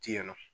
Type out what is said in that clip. Ti yan nɔ